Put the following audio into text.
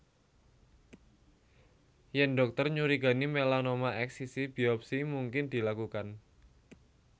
Yèn dhokter nyurigani melanoma eksisi biopsi mungkin dilakukan